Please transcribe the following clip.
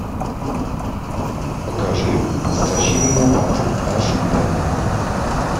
покажи затащи меня в ад аш д